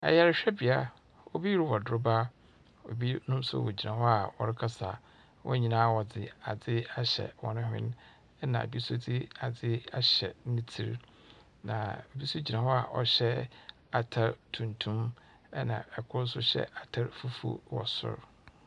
Ayarehwɛbea, obi rowɔ droba. Obi nso wogyina hɔ a ɔrekasa. Wɔn nyinaa wɔdze adze ahyɛ hɔn hwen, na bi nso dze adze ahyɛ ne tsir, na bi nso gyina hɔ ɔhyɛ atar tuntum, na kor nso hyɛ atar fufuw wɔ sor.